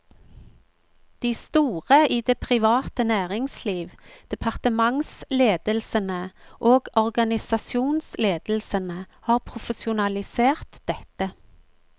De store i det private næringsliv, departementsledelsene og organisasjonsledelsene har profesjonalisert dette.